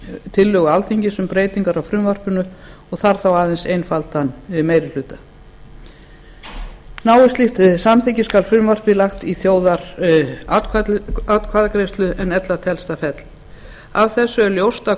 tillögu alþingis um breytingar á frumvarpinu og þarf þá aðeins einfaldan meiri hluta náist slíkt samþykki skal frumvarpið lagt í þjóðaratkvæðagreiðslu en ella telst það fellt af þessu er ljóst að